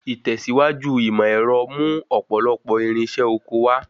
Ìtẹ̀síwájú ìmọ̀ ẹ̀rọ mú ọ̀pọ̀lọpọ̀ irinṣẹ́ oko wá.